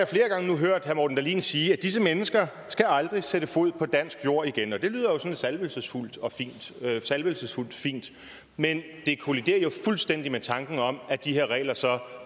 flere gange hørt herre morten dahlin sige at disse mennesker aldrig skal sætte fod på dansk jord igen det lyder sådan salvelsesfuldt salvelsesfuldt fint men det kolliderer jo fuldstændig med tanken om at de her regler så